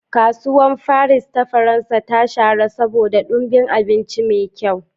Kasuwar Faris ta Faransa ta shahara saboda ɗumbin abinci mai kyau.